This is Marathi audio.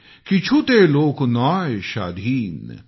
किछुते लोक नॉय शाधीन ।।